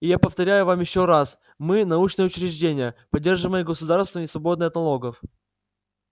и я повторяю вам ещё раз мы научное учреждение поддерживаемое государством и свободное от налогов